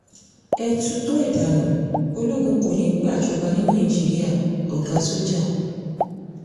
ẹ tutọ́ ẹ̀ dànù ológun kó ní í gbàjọba ní nàìjíríà -ọ̀gá sójà